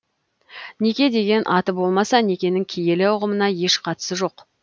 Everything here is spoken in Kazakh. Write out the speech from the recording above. неке деген аты болмаса некенің киелі ұғымына еш қатысы жоқ